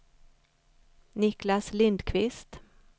Niklas Lindquist